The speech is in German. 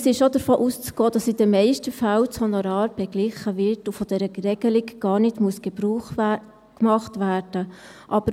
Es ist auch davon auszugehen, dass in den meisten Fällen das Honorar beglichen wird und von dieser Regelung gar nicht Gebrauch gemacht werden muss.